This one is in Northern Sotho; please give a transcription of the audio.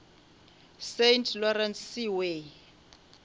saint lawrence seaway